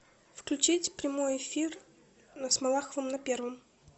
включить прямой эфир с малаховым на первом